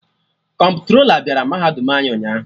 Kọmptrola bịara mahadum anyị ụnyaahụ